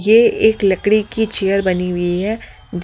ये एक लकड़ी की चेयर बनी हुई है।